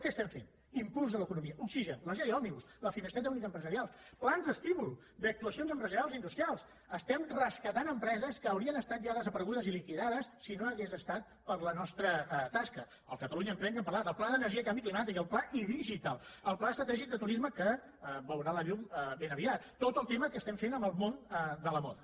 què estem fent impuls a l’economia oxigen les lleis òmnibus la finestreta única empresarial plans d’estímul d’actuacions empresarials industrials estem rescatant empreses que haurien estat ja desaparegudes i liquidades si no hagués estat per la nostra tasca el catalunya emprèn de què hem parlat el pla de l’energia i canvi climàtic el pla idigital el pla estratègic de turisme que veurà la llum ben aviat tot el tema que estem fent amb el món de la moda